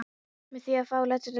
með því að fá álit lögfróðs manns.